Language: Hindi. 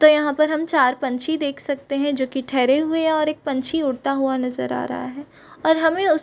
तो यहाँ पर हम चार पंछी देख सकते हैं जो की ठहरे हुए हैं और एक पंछी उड़ता हुआ नजर आ रहा है और हमें उस --